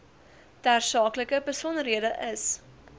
tersaaklike besonderhede is